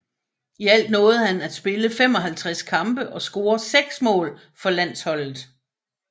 I alt nåede han at spille 55 kampe og score seks mål for landsholdet